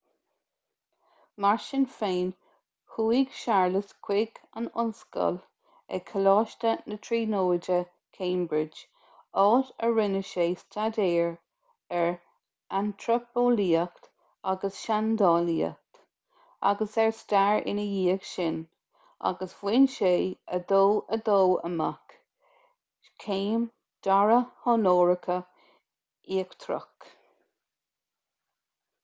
mar sin féin chuaigh séarlas chuig an ollscoil ag coláiste na tríonóide cambridge áit a rinne sé staidéir ar antraipeolaíocht agus seandálaíocht agus ar stair ina dhiaidh sin agus bhain sé 2:2 amach céim dara honóracha íochtarach